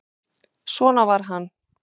Svona var hann.